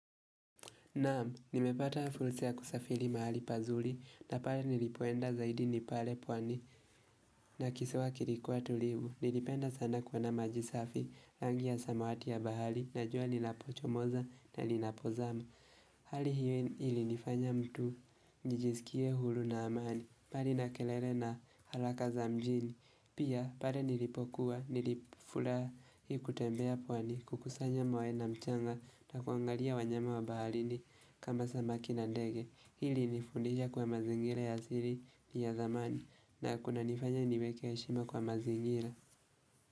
Naamu, nimepata hafusea kusafili mahali pazuri na pale nilipoenda zaidi nipale pwani na kisewa kilikuwa tulibu. Nilipenda sana kwa na maji safi, rangi ya samawati ya bahali na jua nilapochomoza na nilapozama. Hali hiyo ili nifanya mtu, nijijisikie hulu na amani, pali na kelele na halaka za mjini. Pia, pale nilipokuwa, nilifula kutembea pwani, kukusanya mawe na mchanga na kuangalia wanyama wabahalini kama samaki na ndege. Hili nifundisha kwa mazingira ya ziri ni ya zamani na kuna nifanya niweke ya shima kwa mazingira.